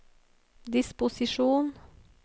disposisjon